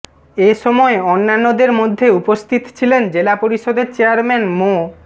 এ সময় অন্যান্যদের মধ্যে উপস্থিত ছিলেন জেলা পরিষদের চেয়ারম্যান মো